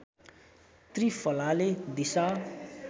त्रिफलाले दिसा